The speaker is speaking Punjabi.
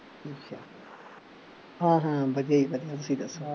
ਹਾਂ ਹਾਂ ਵਧੀਆ ਜੀ ਵਧੀਆ ਤੁਸੀਂ ਦੱਸੋ